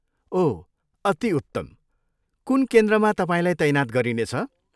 ओह, अति उत्तम! कुन केन्द्रमा तपाईँलाई तैनात गरिनेछ?